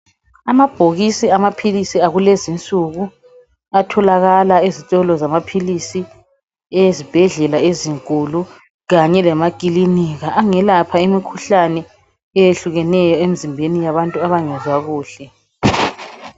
Amabhokisi amaphilisi akulezinsuku atholakala ezitolo zamaphilisi ezibhedlela ezinkulu kanye lamaklinika. Angelapha imikhuhlane eyehlukeneyo emizimbeni yabantu abangezwa kuhle.